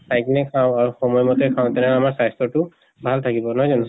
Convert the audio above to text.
চাই কিনে খাওঁ আৰু সময় মতে খাওঁ তেনেহলে আমাৰ স্বাস্থ্য় টো ভাল নহয় জানো